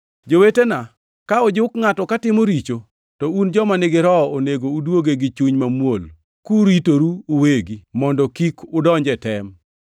Jowetena, ka ojuk ngʼato katimo richo, to un joma nigi Roho onego uduoge gi chuny mamuol, kuritoru uwegi mondo kik udonj e tem.